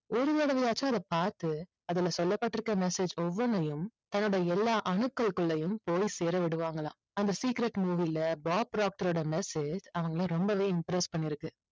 ஒரு தடவையாச்சும் அதை பார்த்து அதுல சொல்லப்பட்டிருக்க message ஒவ்வொண்ணையும் தன்னோட எல்லா அணுக்கள்க்குள்ளேயும் போய் சேர விடுவாங்களாம். அந்த secret movie ல பாப் ப்ராக்ட்டரோட message அவங்களை ரொம்பவே impress பண்ணிருக்கு.